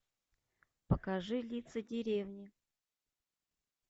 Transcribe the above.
покажи лица деревни